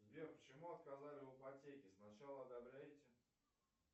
сбер почему отказали в ипотеке сначала одобряете